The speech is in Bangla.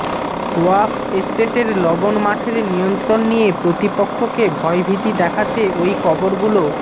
ওয়াক্ফ এস্টেটের লবণ মাঠের নিয়ন্ত্রণ নিয়ে প্রতিপক্ষকে ভয়ভীতি দেখাতে ওই কবরগুলো